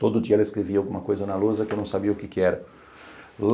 Todo dia ela escrevia alguma coisa na lousa que eu não sabia o que é que era.